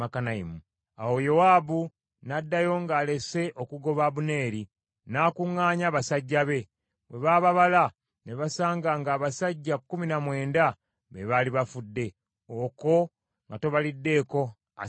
Awo Yowaabu n’addayo ng’alese okugoba Abuneeri, n’akuŋŋaanya abasajja be. Bwe baababala, ne basanga ng’abasajja kkumi na mwenda be baali bafudde, okwo nga tobaliddeeko Asakeri.